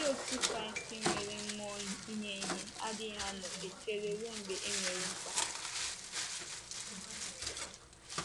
Ndị otú Kraịst nwere mmụọ inye ihe adịghị nnọọ echere ruo mgbe e nwere mkpa.